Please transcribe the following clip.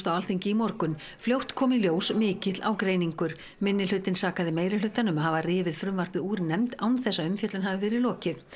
á Alþingi í morgun fljótt kom í ljós mikill ágreiningur minnihlutinn sakaði meirihlutann um að hafa rifið frumvarpið úr nefnd án þess að umfjöllun hafi verið lokið